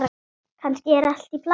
Kannski er allt í plati.